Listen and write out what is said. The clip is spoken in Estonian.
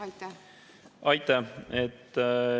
Aitäh!